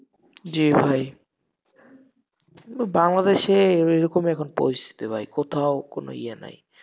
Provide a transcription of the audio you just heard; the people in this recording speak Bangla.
জি ভাই, বাংলাদেশে ওইরকমই এখন পরিস্থিতি ভাই, কোথাও কোন ইয়ে নাই।